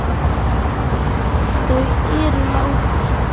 Þau eru látin.